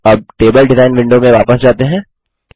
अब table design window में वापस जाते हैं